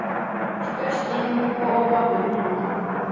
Skaust inn og á bak við hurðina.